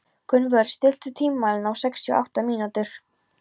Gunnvör, stilltu tímamælinn á sextíu og átta mínútur.